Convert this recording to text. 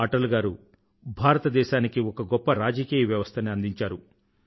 అటల్ గారు భారతదేశానికి ఒక గొప్ప రాజకీయ వ్యవస్థని అందించారు